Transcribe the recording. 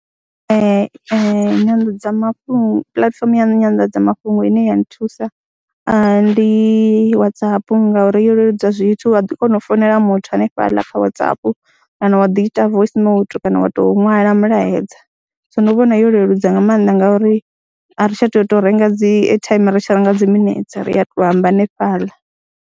Ee, nyanḓadzamafhungo, puḽatifomo ya nyanḓadzamafhungo ine ya nthusa ndi Whatsapp ngauri yo leludza zwithu, wa ḓi kona u founela muthu hanefhaḽa kha Whatsapp kana wa ḓi ita voice note kana wa tou ṅwala mulaedza. So ndi vhona yo leludza nga maanḓa ngauri a ri tsha tou renga dzi airtime ri tshi renga dzi minetse, ri a tou amba hanefhaḽa.